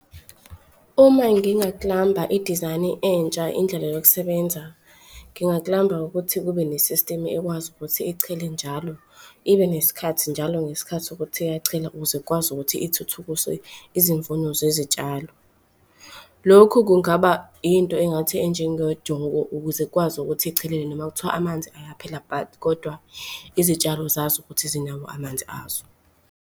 Uma i-design-i entsha indlela yokusebenza, ukuthi kube ne-system ekwazi ukuthi ichele njalo ibe nesikhathi njalo ngesikhathi sokuthi iyachela, ukuze ikwazi ukuthi ithuthukise izimfuno zezitshalo. Lokhu kungaba into engathi enjengejoko ukuze ikwazi ukuthi ichelele noma kuthiwa amanzi ayaphela but kodwa izitshalo zazi ukuthi zinawo amanzi azo.